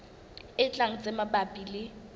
e tlang tse mabapi le